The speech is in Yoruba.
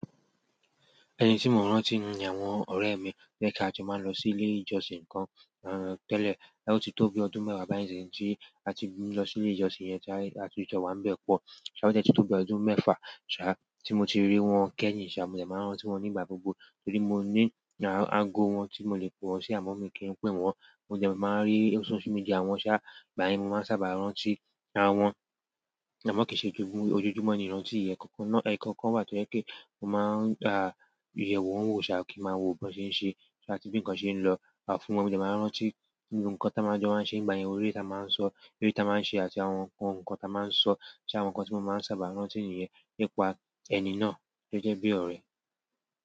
Ẹni tí mo ń rántí ni àwọn ọ̀rẹ́ mi, bí i pé kí a jọ máa lọ sí ilé ìjọsìn kan tẹ́lẹ̀, ó ti tó bi ọdún mẹ́wàá báyìí tí a ti lọ sí ilé ìjọsìn yẹn tí a ti jọ wá nbẹ̀ pọ̀. So a dẹ tí tó bi ọdún mẹ́fà, ṣá tí mo ti rí wọn kẹ́yìn, ṣà mo dẹ̀ máa ń rántí wọn nígbà gbogbo torí mo ní ago wọn tí mo lè pọ̀ sí àwọn amọ mi kín n pè wọ́n. Mo dẹ̀ máa ń rí social media wọn ṣá, ìgbà yẹn mo máa ń sábà rántí àwọn. Àmọ́ kì í ṣe ojojúmọ́ ni ìrántí ìyẹn, ẹkọ̀kan náà ékọ̀kan wá tó jẹ́ pé kó máa yẹ̀ wọ́n wò ṣá kí n máa wo bí wọn ṣe ń ṣe àti bí ǹkan ṣe ń lọ. Àfúnú mo dẹ̀ máa ń rántí gbogbo kan táa máa ń jọ n ṣe nígbà yẹn, orí ẹta máa ń sọ, ere ta máa ń ṣe àti àwọn nǹkan táa máa ń sọ so àwọn nǹkan tí mo máa ń sábà rántí nìyẹn nípa ẹni náà tó jẹ́ bí ọ̀rẹ́.